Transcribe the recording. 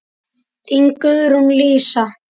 Þín, Guðrún Lísa.